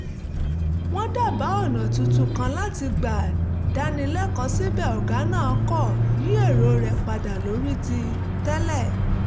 wọ́n dábàá ọ̀nà tuntun kan láti gbà dáni lẹ́kọ̀ọ́ síbẹ̀ ọ̀gá náà kò yí èrò rẹ̀ padà lórí ti tẹ́lẹ̀